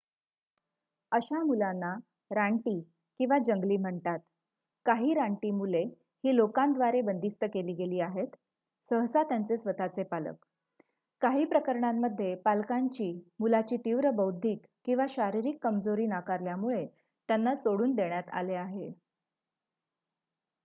"अशा मुलांना "रानटी" किंवा जंगली म्हणतात. काही रानटी मुले ही लोकांद्वारे बंदिस्त केली गेली आहेत सहसा त्यांचे स्वतःचे पालक; काहीप्रकरणांमध्ये पालकांनी मुलाची तीव्र बौद्धिक किंवा शारीरिक कमजोरी नाकारल्यामुळे त्यांना सोडून देण्यात आले आहे.